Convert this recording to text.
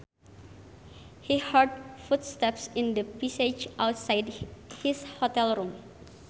He heard footsteps in the passage outside his hotel room